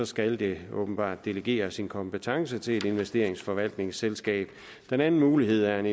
skal det åbenbart delegere sin kompetence til et investeringsforvaltningsselskab den anden mulighed er en